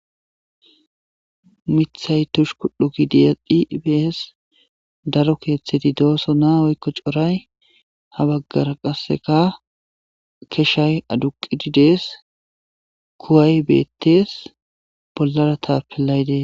mithay tushu kudho gidiyadhi bees daro keeththeti dooso naa woykko coray ha baggara qasseka keshshay aduqidi dees kuway beettees bollara taapelaydees